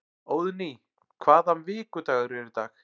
Óðný, hvaða vikudagur er í dag?